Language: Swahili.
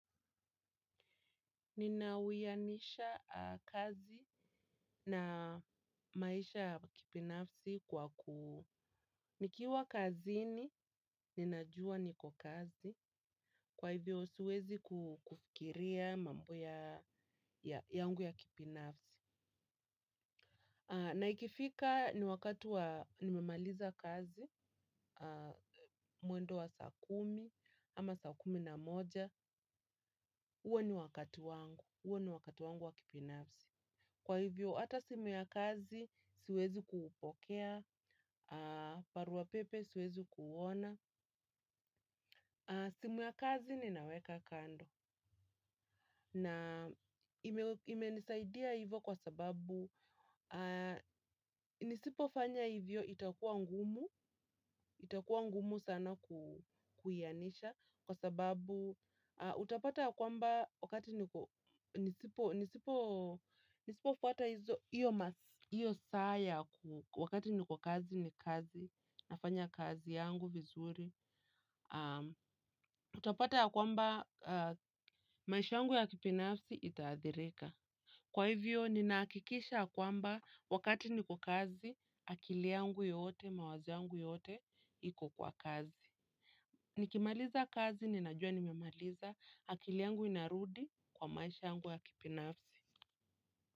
Ninauyanisha kazi na maisha ya kibinafsi kwa ku nikiwa kazini, ninajua niko kazi, kwa hivyo siwezi kufikiria mambo ya yangu ya kibinafsi. Naikifika ni wakati wa nimemaliza kazi, mwendo wa saa kumi, ama saa kumi na moja, uwe ni wakati wangu, uwe ni wakati wangu wa kibinafsi. Kwa hivyo, hata simu ya kazi siwezi kuupokea, barua pepe siwezi kuona. Simu ya kazi ninaweka kando. Na imenisaidia hivyo kwa sababu, nisipofanya hivyo itakua ngumu, itakua ngumu sana kuwianisha. Kwa sababu utapata kwamba wakati nisipofuwmata hizo hiyo masi. Hiyo saa ya wakati niko kazi ni kazi, nafanya kazi yangu vizuri. Utapata kwamba maisha yangu ya kibinafsi itaathirika. Kwa hivyo, ninahakikisha kwamba wakati niko kazi, akili yangu yote, mawazo yangu yote, iko kwa kazi. Nikimaliza kazi ninajua nimemaliza akili yangu inarudi kwa maisha yangu ya kibinafsi.